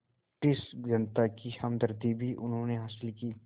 British जनता की हमदर्दी भी उन्होंने हासिल की